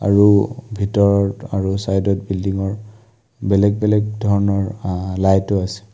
আৰু ভিতৰৰ আৰু চাইডত বিল্ডিংৰ বেলেগ বেলেগ ধৰণৰ লাইটো আছে।